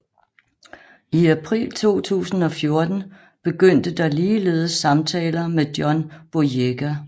I april 2014 begyndte der ligeledes samtaler med John Boyega